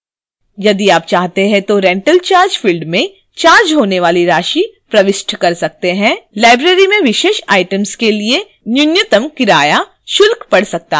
यदि आप चाहें तो rental charge field में charged होने वाली राशि प्रविष्ट कर सकते हैं